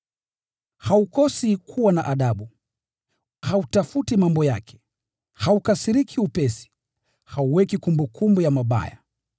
Haukosi kuwa na adabu, hautafuti mambo yake, haukasiriki upesi, hauweki kumbukumbu ya mabaya.